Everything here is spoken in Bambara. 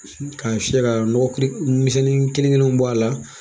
K'a fiyɛ ka nɔgɔ kuru misɛnnin kelen kelenw bɔ a la